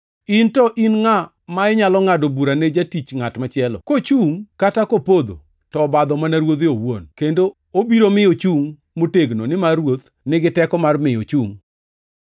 In to in ngʼa ma inyalo ngʼado bura ne jatich ngʼat machielo? Kochungʼ kata kopodho, to obadho mana ruodhe owuon, kendo obiro mi ochungʼ motegno nimar Ruoth nigi teko mar miyo ochungʼ.